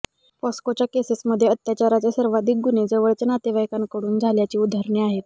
पॉस्कोच्या केसेसमध्ये अत्याचाराचे सर्वाधिक गुन्हे जवळच्या नातेवाइकांकडून झाल्याची उदाहरणे आहेत